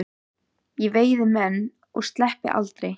Ég veiði menn og sleppi aldrei.